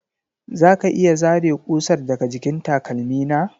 Za ka iya zare ƙusar daga jikin takalmi na?